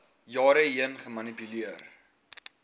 jare heen gemanipuleer